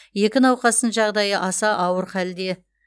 екі науқастың жағдайы аса ауыр халде